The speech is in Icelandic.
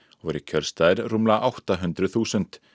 og voru kjörstaðir rúmlega átta hundruð þúsund